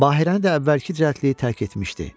Bahirəni də əvvəlki cəldliyi tərk etmişdi.